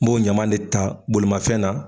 N b'o ɲama de ta bolimafɛn na.